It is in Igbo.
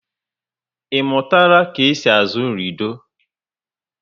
I mụtara ka e si azụ lido?